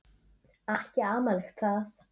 Ekki amalegt það.